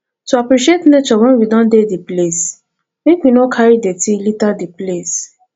to appreciate nature when we don dey di place make we no carry dirty liter di place